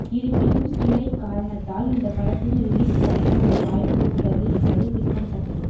இருப்பினும் ஸ்டிரைக் காரணத்தால் இந்த படத்தின் ரிலீஸ் தள்ளி போக வாய்ப்பு உள்ளது என்பது குறிப்பிடத்தக்கது